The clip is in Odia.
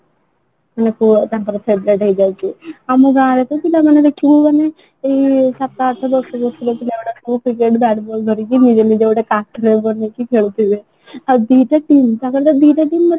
ମୁଁ ପୁରା ତାଙ୍କର favourite ହେଇଯାଉଛି ଆମେ ଗାଁ ରେ ତ ପିଲା ମାନେ ଦେଖିହବନି ଯୋଉ ସାତ ଆଠ ବର୍ଷ ର ସବୁ ପିଲାଗୁଡ଼କ ସବୁ bat ball ଧରିକି ନିଜେ ନିଜର ଗୋଟେ partner ବନେଇକି ଖେଳୁଥିବେ ଆଉ ଦି ଟା team ତାଙ୍କର ତ ଦି ଟା team ନଥିବ